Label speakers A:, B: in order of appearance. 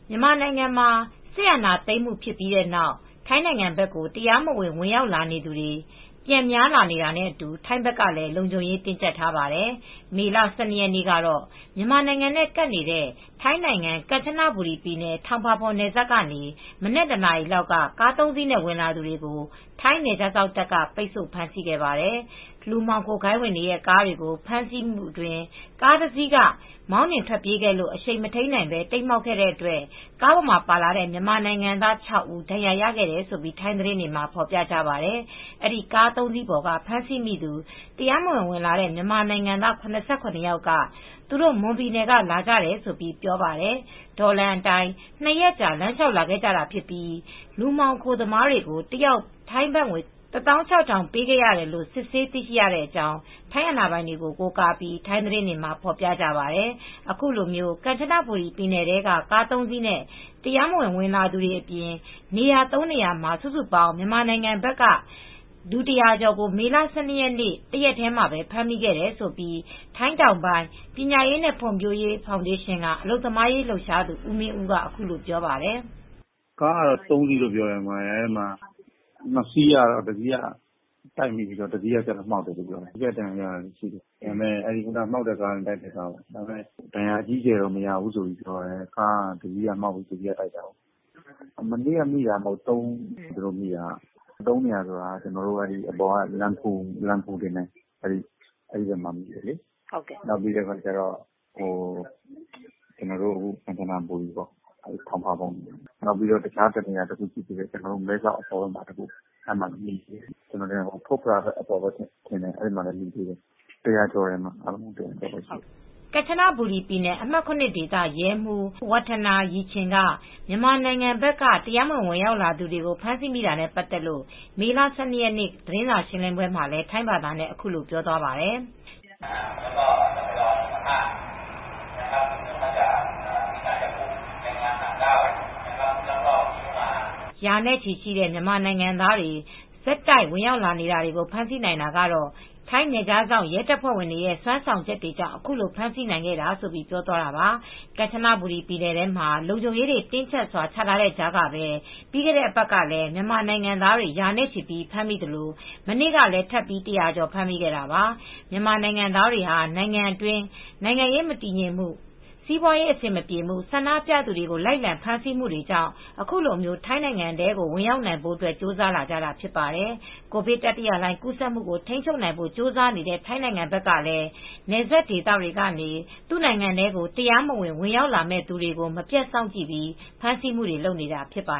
A: မြန်မာနိုင်ငံမှာ စစ်အာဏာသိမ်းမှုဖြစ်ပြီးနောက် ထိုင်းနိုင်ငံဘက်ကို တရားမဝင် ဝင်ရောက်နေသူတွေ ပြန်များလာနေတာနဲ့အတူ ထိုင်းဘက်ကလည်း လုံခြုံရေးတင်းကြပ်ထားပါတယ်။ မေလ ၁၂ ရက်နေ့ကတော့ မြန်မာနိုင်ငံနဲ့ ကပ်နေတဲ့ ထိုင်းနိုင်ငံ ကန်ချနဘူရီပြည်နယ် ထောင်ပါပွန်နယ်စပ်ကနေ မနက် ၁ နာရီလောက် ကား ၃ စီးနဲ့ဝင်လာသူတွေကို ထိုင်းနယ်ခြားစောင့်တပ်တွေက ပိတ်ဆို့ ဖမ်းဆီးခဲ့ပါတယ်။ လူမှောင်ခိုဂိုဏ်းဝင်တွေရဲ့ ကားတွေကို ဖမ်းဆီးမှုအတွင်း ကား ၁ စီးက မောင်းနှင်ထွက်ပြေးခဲ့လို့ အရှိန်မထိန်းနိုင်ဘဲ တိမ်းမှောက်ခဲ့တဲ့အတွက် ကားပေါ်မှာ လိုက်ပါလာတဲ့ မြန်မာနိုင်ငံသား ၆ ဦး ဒဏ်ရာရခဲ့တယ်လို့ ထိုင်းသတင်းတွေမှာဖော်ပြကြပါတယ်။ အဲဒီကား ၃ စီးပေါ်က ဖမ်းဆီးမိသူ တရားမဝင် ဝင်လာတဲ့ မြန်မာနိုင်ငံသား ၇၇ ယောက်က သူတို့ မွန်ပြည်နယ်က လာကြတယ်လို့ပြောပါတယ်။ တောလမ်းအတိုင်း ၂ ရက်ကြာ လမ်းလေ ျှာက်လာခဲ့ကြပြီး ထိုင်းလူမှောင်ခိုတွေကို တယောက် ထိုင်းဘတ်ငွေ ၁၆,၀၀၀ ပေးခဲ့ရတယ်လို့ စစ်ဆေးသိရတဲ့အကြောင်း ထိုင်းအာဏာပိုင်တွေကို ကိုးကားပြီး ထိုင်းသတင်းတွေမှာဖော်ပြကြပါတယ်။ ခုလို ကန်ချနဘူရီပြည်နယ်ထဲ ကား ၃ စီးနဲ့ တရားမဝင် ဝင်လာသူတွေအပြင် နေရာ ၃ နေရာမှာ စုစုပေါင်း မြန်မာနိုင်ငံဘက်က လူ ၁၀၀ ကျော်ကို မေလ ၁၂ ရက် ၁ ရက်ထဲမှာ ဖမ်းမိတယ်လို့ ထိုင်းတောင်ပိုင်းပညာရေးနဲ့ ဖွံဖြိုးရေးဖောင်ဒေးရှင်းက အလုပ်သမားရေးလှုပ်ရှားသူ ဦးမင်းဦးက ခုလိုပြောပြပါတယ်။
B: "ကားကတော့ သုံးစီး၊ အဲဒီမှာ ၂ စီးမှာ တစီးက မှောက်တယ်။ တစီးက တိုက်တယ်ပြောတယ်။ ဒါပေမဲ့ မှောက်တာကတော့ ဒါဏ်ရာအကြီးအကျယ်တော့ မရဘူး။ ကားကတစီးကမှောက်တယ်။ တစီးကတိုက်တာကိုး။ အဲဒီမှာ တနေ့တည်း မနေ့က ၃ နေရာမှာဖြစ်တာက လမ်းပူးဘက်မှာလည်း မိတယ်။ နောက်ပြီးတော့ ကန်ချနဘူရီ ထောင်ပါပွန်။ တခြားနေရာတခုကတော့ မဲဆောက်အပေါ်ဘက်က ဖွတ်ဖရဘက်မှာလည်းမိတယ်။ အားလုံးမိတာဆို လူ
A: ၁၀၀ ကျော်တယ်။" ကန်ချနဘူရီပြည်နယ် အမှတ် ၇ ဒေသ ရဲမှူး Wattana Yi Chin က မြန်မာနိုင်ငံဘက်က တရားမဝင် လာရောက်သူတွေကို ဖမ်းဆီးမိတာနဲ့ ပတ်သက်လို့ မေ ၁၂ ရက်နေ့ သတင်းစာရှင်းပွဲမှာလည်း ထိုင်းဘာသာနဲ့ အခုလိုပြောဆိုသွားပါတယ်။ "ရာနဲ့ချီတဲ့ မြန်မာနိုင်ငံသားတွေ ဆက်တိုက် ဝင်ရောက်နေတာတွေကို ဖမ်းဆီးနိုင်တာက ထိုင်းနယ်ခြားရဲတပ်ဖွဲ့ဝင်တွေရဲ့ စွမ်းဆောင်ချက်တွေကြောင့် အခုလို ဖမ်းဆီးနိုင်ခဲ့တာပါ။" ကန်ချနဘူရီပြည်နယ်ထဲမှာ လုံခြုံရေးတွေ တင်းကြပ်စွာချထားတဲ့အထဲကပဲ ပြီးခဲ့တဲ့အပတ်ကလည်း မြန်မာနိုင်ငံသားတွေ ရာနဲ့ချီ ဖမ်းမိသလို မနေ့ကလည်း ထပ်ပြီး ၁၀၀ ကျော် ဖမ်းမိခဲ့တာပါ။ မြန်မာနိုင်ငံသားတွေဟာ နိုင်ငံတွင်းနိုင်ငံရေးမတည်ငြိမ်မှု၊ စီးပွားရေးအရ အဆင်မပြေမှု၊၊ ဆန္ဒပြသူတွေကို လိုက်လံဖမ်းဆီးနေမှုတွေကြောင့် ခုလို ထိုင်းနို်င်ငံထဲကို ဝင်ရောက်နိုင်ဖို့ ကြိုးစားကြတာဖြစ်ပါတယ်။ ကိုဗစ်တတိယလှိုင်း ကူးစက်မှုကို ထိန်းချုပ်နိုင်ဖို့ ကြိုးစားနေတဲ့ ထိုင်းနိုင်ငံဘက်ကလည်း နယ်စပ်ဒေသတွေကနေ သူ့နိုင်ငံထဲ တရားမဝင် ဝင်ရောက်လာမယ့်သူတွေကို မပြတ်စောင့်ကြည့် ဖမ်းဆီးမှုတွေ လုပ်နေတာဖြစ်ပါ